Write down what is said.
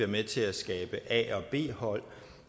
med til at skabe a og b hold